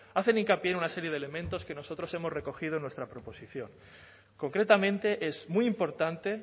hacen hincapié en una serie de elementos que nosotros hemos recogido en nuestra proposición concretamente es muy importante